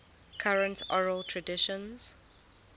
current oral traditions